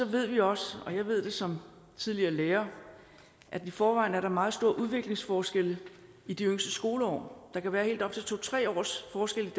ved vi også og jeg ved det som tidligere lærer at i forvejen er der meget store udviklingsforskelle i de yngste skoleår der kan være helt op til to tre års forskel